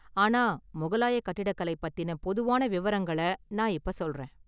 ஆனா முகலாய கட்டிடக்கலை பத்தின பொதுவான விவரங்கள நான் இப்ப சொல்றேன்.